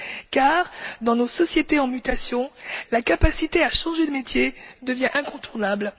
car, dans nos sociétés en mutation, la capacité à changer de métier devient incontournable.